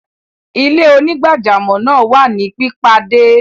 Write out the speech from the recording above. Ilẹ̀-onígbàjàmọ́ naa wà ni pipadẹ.